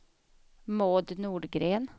Maud Nordgren